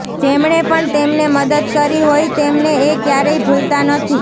જેમણે પણ તેમને મદદ કરી હોય તેમને એ ક્યારેય ભૂલતા નથી